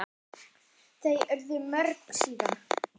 Þau urðu mörg síðan.